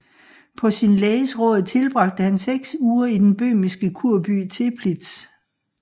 På sin læges råd tilbragte han seks uger i den bøhmiske kurby Teplitz